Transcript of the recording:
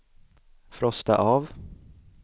frosta av